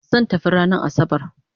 Zan tafi ranan asabar